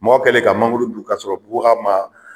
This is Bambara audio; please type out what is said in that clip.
Mɔgɔ kɛlen ka mangoro dun k'a sɔrɔ bubaga ma.